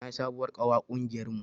Na yi sabuwar ƙawa ƙungiyar mu